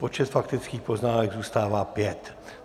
Počet faktických poznámek zůstává pět.